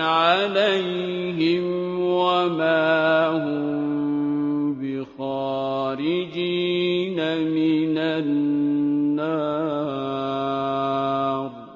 عَلَيْهِمْ ۖ وَمَا هُم بِخَارِجِينَ مِنَ النَّارِ